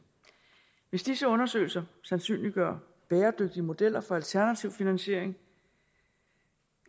hvis disse undersøgelser sandsynliggør bæredygtige modeller for alternativ finansiering